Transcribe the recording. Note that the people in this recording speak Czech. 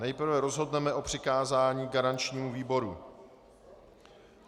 Nejprve rozhodneme o přikázání garančnímu výboru.